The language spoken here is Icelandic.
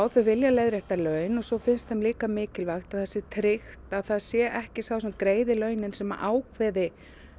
þau vilja leiðrétta laun og svo finnst þeim líka mikilvægt að það sé tryggt að það sé ekki sá sem greiði launin sem ákveði